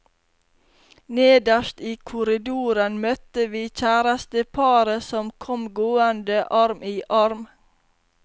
Nederst i korridoren møtte vi kjæresteparet som kom gående arm i arm.